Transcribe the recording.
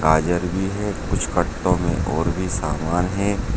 गाजर भी है कुछ गत्तों में और भी समान है।